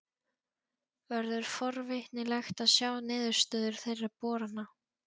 Verður forvitnilegt að sjá niðurstöður þeirra borana.